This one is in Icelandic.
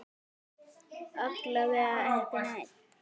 Alla vega ekki enn.